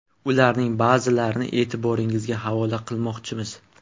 Ularning ba’zilarini e’tiboringizga havola qilmoqchimiz.